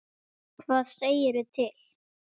Hvað segirðu til?